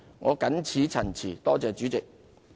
我謹此陳辭，多謝主席。